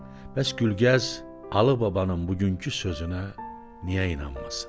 Bəs Gülgəz Alıbabanın bugünkü sözünə niyə inanmasın?